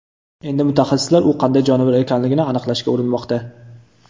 Endi mutaxassislar u qanday jonivor ekanligini aniqlashga urinmoqda.